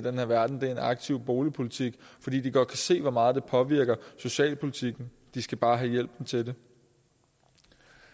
den her verden er en aktiv boligpolitik fordi de godt kan se hvor meget det påvirker socialpolitikken de skal bare have hjælpen til det